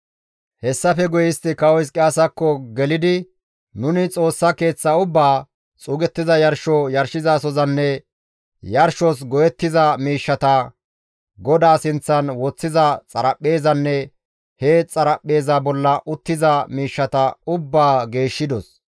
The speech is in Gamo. Hessafe guye istti Kawo Hizqiyaasakko gelidi, «Nuni Xoossa Keeththaa ubbaa, xuugettiza yarsho yarshizasozanne yarshos go7ettiza miishshata, GODAA sinththan woththiza xaraphpheezanne he xaraphpheeza bolla uttiza miishshata ubbaa geeshshidos.